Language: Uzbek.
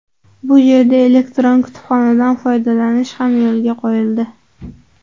Bu yerda elektron kutubxonadan foydalanish ham yo‘lga qo‘yildi.